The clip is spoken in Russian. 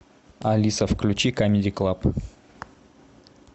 алиса включи камеди клаб